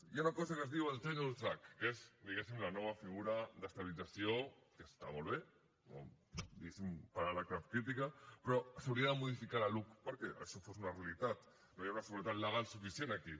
hi ha una cosa que es diu el tenure track que és diguéssim la nova figura d’estabilització que està molt bé per ara cap crítica però s’hauria de modificar la luc perquè això fos una realitat no hi ha una seguretat legal suficient aquí